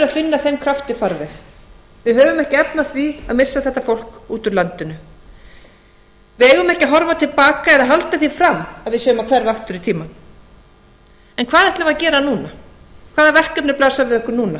finna þeim krafti farveg við höfum ekki efni á því að missa þetta fólk út úr landinu við eigum ekki að horfa til baka eða halda því fram að við séum að hverfa aftur í tímann en hvað ætlum við að gera núna hvaða verkefni blasa við okkur